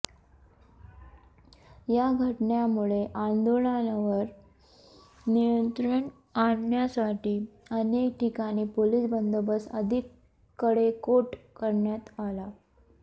या घटनेमुळे आंदोलनावर नियंत्रण आणण्यासाठी अनेक ठिकाणी पोलीस बंदोबस्त अधिक कडेकोट करण्यात आला